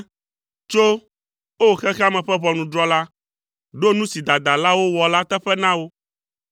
Tso, o xexea me ƒe Ʋɔnudrɔ̃la, ɖo nu si dadalawo wɔ la teƒe na wo.